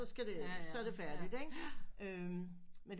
Så skal det så er det færdigt ikke